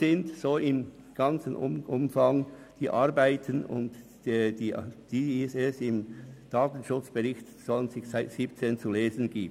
Soweit die Arbeiten, von denen im Datenschutzbericht 2017 zu lesen ist.